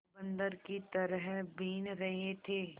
बंदर की तरह बीन रहे थे